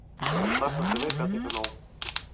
поставь на тв пятый канал